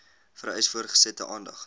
vereis voortgesette aandag